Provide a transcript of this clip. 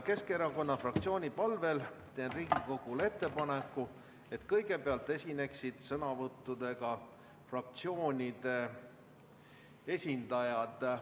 Keskerakonna fraktsiooni palvel teen Riigikogule ettepaneku, et kõigepealt esineksid sõnavõtuga fraktsioonide esindajad.